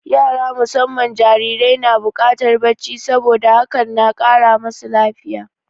Yara musamman jarirai na buƙatar bacci, saboda hakan na kara masu lafiya.